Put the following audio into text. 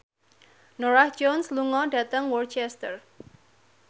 Norah Jones lunga dhateng Worcester